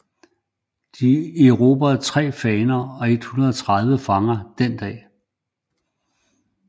De erobrede tre faner og 130 fanger den dag